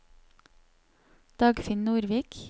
Dagfinn Nordvik